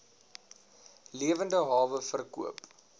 lewende hawe verkoop